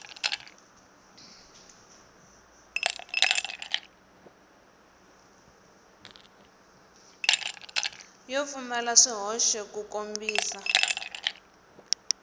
yo pfumala swihoxo ku kombisa